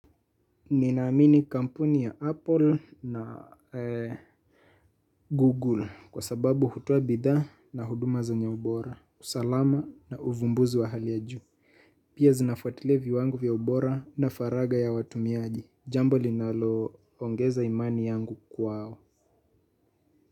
Ninaamini kampuni ya Apple na Google kwa sababu hutoa bidhaa na huduma zenye ubora. Usalama na uvumbuzi wa hali ya juu. Pia zinafwatilia viwangu vya ubora na faraga ya watumiaji. Jambo linalo ongeza imani yangu kwao.